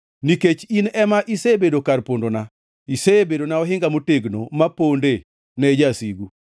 Nikech in ema isebedo kar pondona, isebedona ohinga motegno maponde ne jasigu.